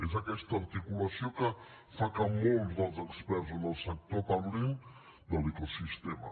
és aquesta articulació que fa que molts dels experts en el sector parlin de l’ecosistema